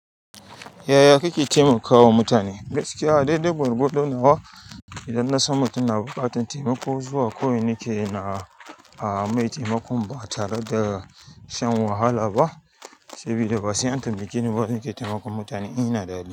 Yaya kake taimakawa mutane? Gaskiya, a daidai gwargwado nawa idan nasan mutun na buƙatan taimako zuwa kawai nakeyi na a mai taimakon ba tare da shan wahala ba, sabida ba sai an tambake ni ba na ke taimakon mutane in ina da hali.